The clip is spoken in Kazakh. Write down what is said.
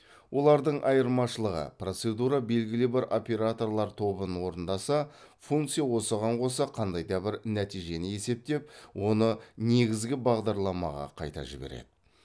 олардың айырмашылығы процедура белгілі бір операторлар тобын орындаса функция осыған қоса қандай да бір нәтижені есептеп оны негізгі бағдарламаға қайта жібереді